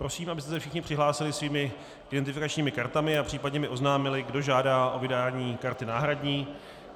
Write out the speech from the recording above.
Prosím, abyste se všichni přihlásili svými identifikačními kartami a případně mi oznámili, kdo žádá o vydání karty náhradní.